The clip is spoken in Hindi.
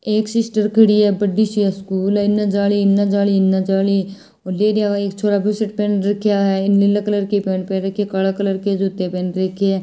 एक सिस्टर खड़ी है बड़ी सी स्कूल है इन्न जाली इन्न जाली इन्न जाली है एक छोरा बुशट पहन रखया है नीला कलर के पेंट पहन रखी है काला कलर के जूते पहन रखया है।